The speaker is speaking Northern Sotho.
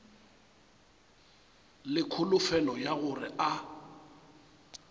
le kholofelo ya gore a